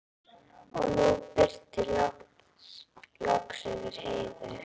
Og nú birti loks yfir Heiðu.